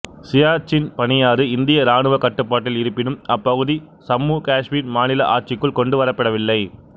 சியாச்சின் பனியாறு இந்திய இராணுவ கட்டுப்பாட்டில் இருப்பினும் அப்பகுதி சம்மு காசுமீர் மாநில ஆட்சிக்குள் கொண்டு வரப்படவில்லை